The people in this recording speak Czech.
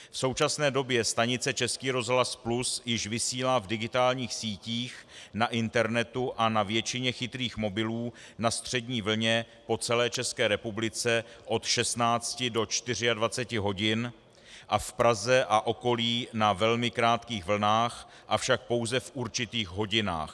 V současné době stanice Český rozhlas Plus již vysílá v digitálních sítích, na internetu a na většině chytrých mobilů na střední vlně po celé České republice od 16 do 24 hodin a v Praze a okolí na velmi krátkých vlnách, avšak pouze v určitých hodinách.